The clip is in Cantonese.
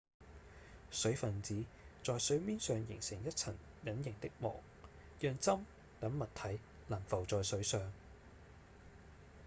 水分子在水面上形成一層隱形的膜讓針等物體能浮在水上